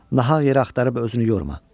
Nahaq yerə axtarıb özünü yorma.